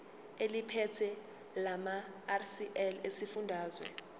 eliphethe lamarcl esifundazwe